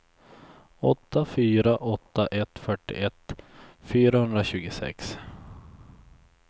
åtta fyra åtta ett fyrtioett fyrahundratjugosex